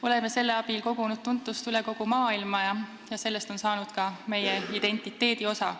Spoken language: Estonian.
Oleme selle abil kogunud tuntust üle kogu maailma ja sellest on saanud ka meie identiteedi osa.